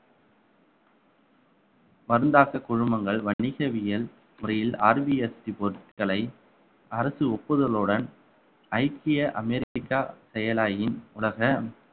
மருந்தாக்க குழுமங்கள் வணிகவியல் முறையில் rBST பொருட்களை அரசு ஒப்புதலுடன் ஐக்கிய அமெரிக்கா செயலாயின் உலக